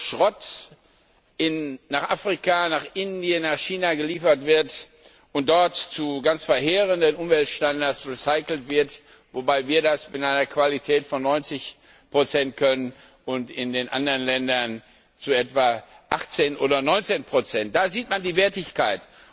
Schrott wird nach Afrika, nach Indien, nach China geliefert und dort zu ganz verheerenden Umweltstandards recycelt, wobei wir das mit einer Qualität von 90 können und in den anderen Ländern nur etwa 18 oder 19 erreicht werden. Da sieht man die Wertigkeit.